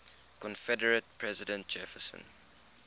confederate president jefferson